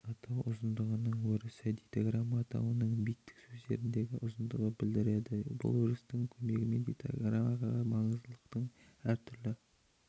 атау ұзындығының өрісі дейтаграмма атауының биттік сөздердегі ұзындығын білдіреді бұл өрістің көмегімен дейтаграммаға маңыздылықтың әр түрлі